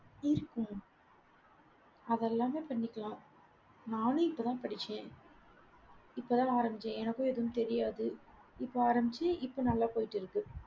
அதெல்லாமே பண்ணிக்கலாம். நானும் இப்பதான் படிச்சேன் இப்பதான் நான் ஆரம்பிச்சேன். எனக்கும் எதுவும் தெரியாது. இப்ப ஆரம்பிச்சு இப்ப நல்லா போயிட்டு இருக்கு